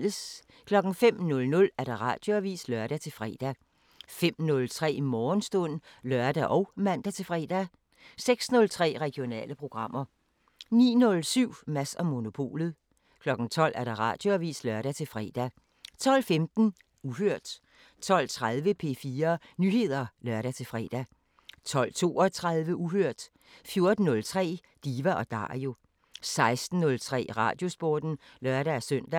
05:00: Radioavisen (lør-fre) 05:03: Morgenstund (lør og man-fre) 06:03: Regionale programmer 09:07: Mads & Monopolet 12:00: Radioavisen (lør-fre) 12:15: Uhørt 12:30: P4 Nyheder (lør-fre) 12:32: Uhørt 14:03: Diva & Dario 16:03: Radiosporten (lør-søn)